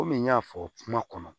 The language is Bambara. Komi n y'a fɔ kuma kɔnɔ